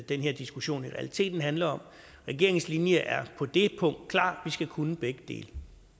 den her diskussion i realiteten handler om regeringens linje er på det punkt klar vi skal kunne begge dele